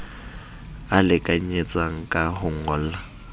a lekanyetsang ka ho ngolla